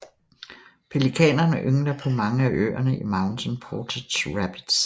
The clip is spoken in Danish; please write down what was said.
Pelikanerne yngler på mange af øerne i Mountain Portage Rapids